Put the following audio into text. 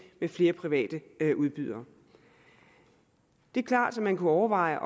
med flere private udbydere det er klart at man kunne overveje